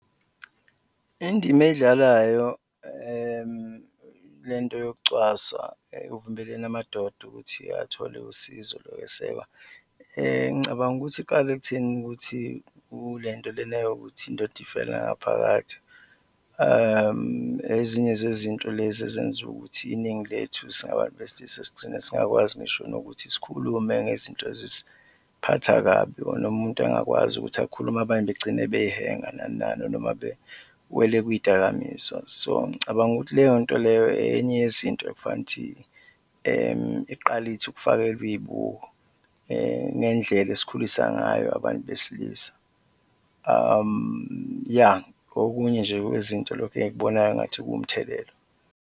Indima eyidlalayo le nto yokucwaswa ekuvimbeleni amadoda ukuthi athole usizo lokwesekwa, ngicabanga ukuthi iqale ekutheni ukuthi kule nto lena yokuthi indoda ifela ngaphakathi, ezinye zezinto lezi ezenza ukuthi iningi lethu singabantu besilisa sigcine singakwazi ngisho nokuthi sikhulume ngezinto ezisiphatha kabi or noma umuntu angakwazi ukuthi akhulume, abanye begcine beyihenga nani nani noma bewele kuy'dakamizwa. So ngicabanga ukuthi leyonto leyo enye yezinto ekufanele ukuthi iqale ithi ukufakelwa iy'buko ngendlela esikhulisa ngayo abantu besilisa, ya, okunye nje kwezinto lokhu engikubonayo ngathi kuwumthelela.